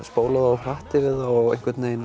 spólað of hratt yfir það og